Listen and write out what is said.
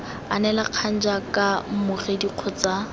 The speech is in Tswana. anela kgang jaaka mmogedi kgotsa